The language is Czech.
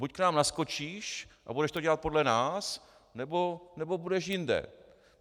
Buď k nám naskočíš a budeš to dělat podle nás, nebo budeš jinde.